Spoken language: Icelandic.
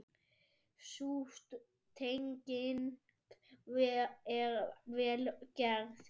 Sú tenging er vel gerð.